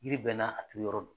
Yiri bɛɛ n'a a turu yɔrɔ do.